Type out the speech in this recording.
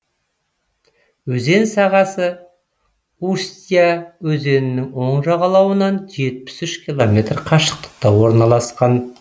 өзен сағасы устья өзенінің оң жағалауынан жетпіс үш километр қашықтықта орналасқан